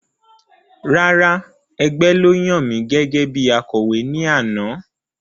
Rárá, ẹgbẹ́ ló yan mi gẹ́gẹ́bí Akọ̀wé ní àná